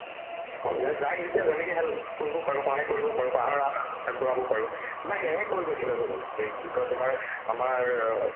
মানে যাক যেতিয়া যেনেকে help কৰিব পাৰো সহায় কৰিব পাৰো সহায়ৰ হাত আগবঢ়াব পাৰো বা সেয়েহে কৰিব ইচ্ছা যায় দেখুন এই কি কই তোমাৰ আমাৰ অ